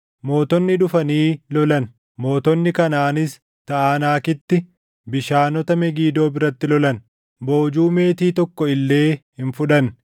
“Mootonni dhufanii lolan; mootonni Kanaʼaanis Taʼanaakitti bishaanota Megidoo biratti lolan; boojuu meetii tokko illee hin fudhanne.